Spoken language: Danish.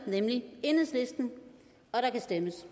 og der kan stemmes